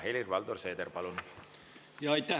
Helir-Valdor Seeder, palun!